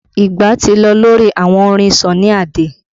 Ìgbà ti lọ lórí àwọn orin Sunny Ade